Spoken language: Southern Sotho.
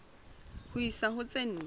ho isa ho tse nne